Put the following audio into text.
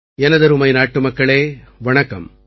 எனதருமை நாட்டுமக்களே வணக்கம்